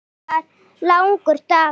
Þetta var langur dagur.